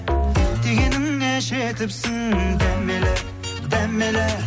дегеніңе жетіпсің дәмелі дәмелі